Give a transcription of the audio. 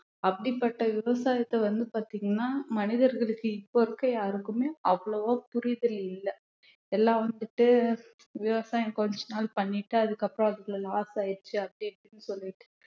அப்படிப்பட்ட விவசாயத்தை வந்து பாத்தீங்கன்னா மனிதர்களுக்கு இப்ப இருக்க யாருக்குமே அவ்வளவா புரிதல் இல்ல எல்லாம் வந்துட்டு விவசாயம் கொஞ்ச நாள் பண்ணிட்டு அதுக்கப்புறம் அதுல loss ஆயிருச்சு அப்படி இப்படின்னு சொல்லிட்டு